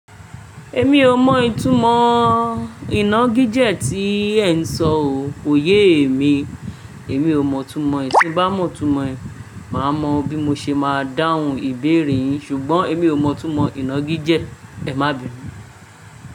Èmi ò mọ ìtumọ̀ inágíjẹ̀ tí ẹ ń sọ ò, kò ye èmi. Èmi ò mọ̀ itumọ̀, tí n bá mọ̀ itumọ̀ ẹ, màá mọ̀ bí mo ṣe máa dáhùn ìbéèrè yín, ṣùgbọ́n èmi ò mọ̀ itumọ̀ inágíjẹ̀. Ẹ má bì mí.